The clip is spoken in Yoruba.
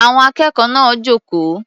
Àwọn akẹ́kọ̀ọ́ náà jókòó.